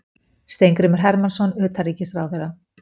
Steingrímur Hermannsson utanríkisráðherra.